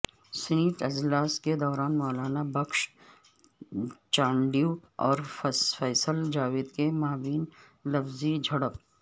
senate اجلاس کےدوران مولابخش چانڈیواور فیصل جاوید کے مابین لفظی جھڑپ